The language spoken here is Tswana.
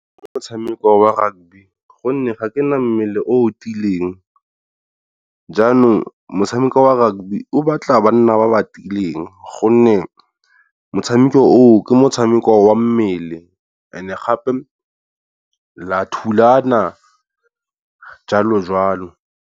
Motshameko wa rugby gonne ga ke nna mmele o o tiileng, jaanong motshameko wa rugby o batla banna ba ba tiileng, gonne motshameko oo ke motshameko wa mmele and gape la thulana jwalo jwalo.